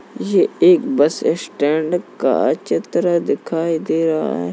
ये एक bus stand का चित्र दिखाई दे रहा है।